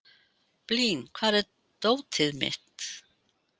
Blín, hvar er dótið mitt?